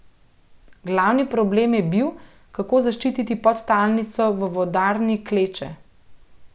Glavni problem je bil, kako zaščititi podtalnico v vodarni Kleče.